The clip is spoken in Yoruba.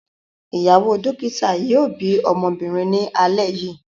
Ìyàwó dókítà yóò bí ọmọbìnrin ní alẹ́ yìí.